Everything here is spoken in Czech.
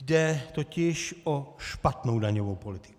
Jde totiž o špatnou daňovou politiku.